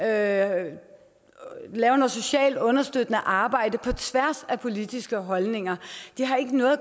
at lave noget socialt understøttende arbejde på tværs af politiske holdninger det har ikke noget at